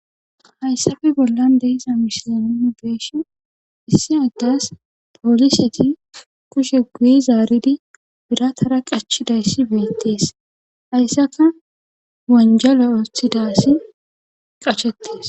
Haysape bollan de7iza misilenuuni be7ishin issi adas pooliseti kushiya guye zaaridi biratara qachchidayssi beetes haysanka wonjjale oothida asi qashettes.